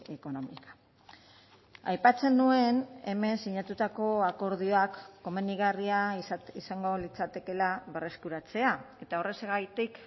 económica aipatzen nuen hemen sinatutako akordioak komenigarria izango litzatekeela berreskuratzea eta horrexegatik